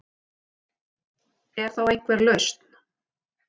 Er þá einhver lausn